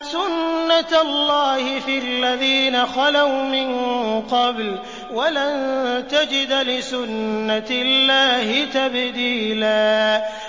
سُنَّةَ اللَّهِ فِي الَّذِينَ خَلَوْا مِن قَبْلُ ۖ وَلَن تَجِدَ لِسُنَّةِ اللَّهِ تَبْدِيلًا